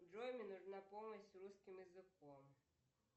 джой мне нужна помощь с русским языком